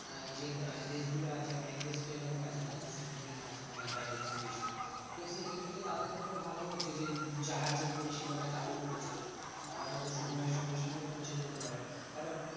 আহ যে দেশগুলো আছে অনেক দেশ তো এরকম আছে না? যে সমুদ্রের মাঝখানে বা এরকম কিছু। তো সেই দিক থেকে তাদের ক্ষেত্রে ভালো হয়েছে যে, এই জাহাজের পরিষেবা টা চালু করেছে। তারা ধরো সময়ের সঙ্গে সঙ্গে পৌঁছে যেতে পারে। কারণ